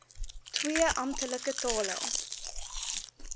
twee amptelike tale